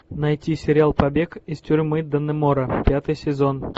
найти сериал побег из тюрьмы даннемора пятый сезон